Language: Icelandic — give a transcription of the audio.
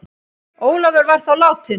Ólafur var þá látinn.